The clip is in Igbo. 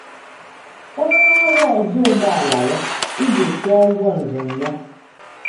Onye ọrụ ọzọ ụgbọala ya iji kwụọ ụgwọ njem ya.